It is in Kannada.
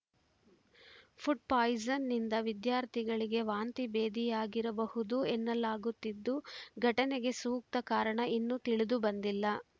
ಫುಡ್‌ ಪಾಯಿಸನ್‌ನಿಂದ ವಿದ್ಯಾರ್ಥಿಗಳಿಗೆ ವಾಂತಿಭೇದಿಯಾಗಿರಬಹುದು ಎನ್ನಲಾಗುತ್ತಿದ್ದು ಘಟನೆಗೆ ಸೂಕ್ತ ಕಾರಣ ಇನ್ನೂ ತಿಳಿದು ಬಂದಿಲ್ಲ